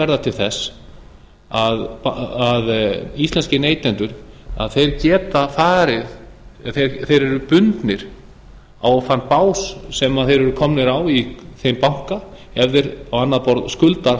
verða til þess að íslenski neytendur eru bundnir á þann bás sem þeir eru komnir á í þeim banka ef þeir á annað borð skulda